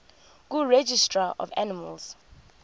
kuregistrar of animals